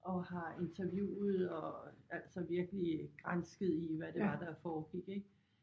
Og har interviewet og altså virkelig gransket i hvad det var der foregik ik